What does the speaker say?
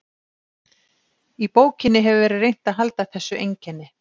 Í bókinni hefur verið reynt að halda þessu einkenni.